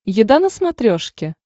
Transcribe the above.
еда на смотрешке